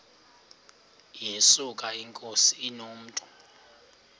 yesuka inkosi inomntu